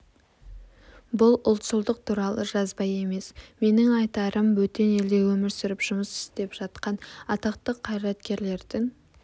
бұл ұлтшылдық туралы жазба емес менің айтарым бөтен елде өмір сүріп жұмыс істеп жатқан атақты қайраткерлердің